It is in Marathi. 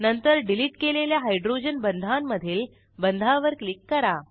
नंतर डिलीट केलेल्या हायड्रोजन बंधांमधील बंधावर क्लिक करा